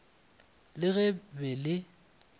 le ge le be le